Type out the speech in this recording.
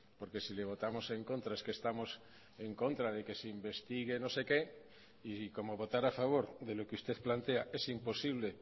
porque si le votamos en contra es que estamos en contra de que se investigue no sé qué y como votar a favor de lo que usted plantea es imposible